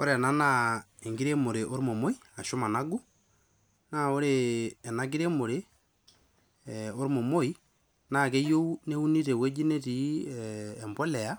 ore ena naa enkiremore ormomoi ashu managu naa ore ena kiremore eh, ormomoi naa keyieu neuni tewueji netii eh, empoleya